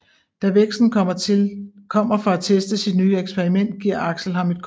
Da Vexen kommer for at teste sit nye eksperiment giver Axel ham et kort